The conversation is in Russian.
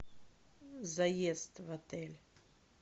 заезд в отель